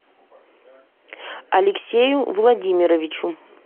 алексею владимировичу